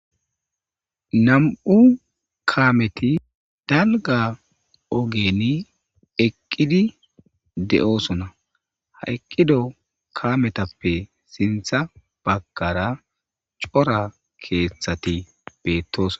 Nam'u kameti dalgga ogeni eqqidi de'oosona ha eqqido kametappe siinththa baggara cora keeththati beettoos